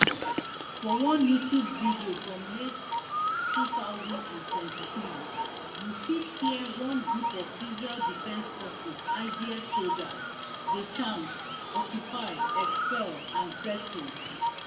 for one youtube video from late two thousand and twenty-three you fit hear one group of israel defense forces idf soldiers dey chant occupy expel and settle